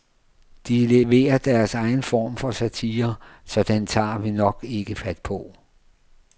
De leverer deres egen form for satire, så den tager vi nok ikke fat på.